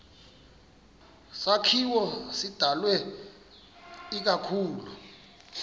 sakhiwo sidalwe ikakhulu